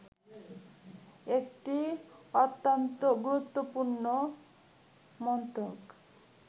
একটি অত্যন্ত গুরুত্বপূর্ণ মন্ত্রক